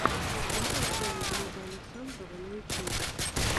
нарой шоу глеба александрова на ютубе